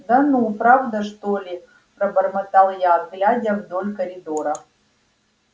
да ну правда что ли пробормотал я глядя вдоль коридора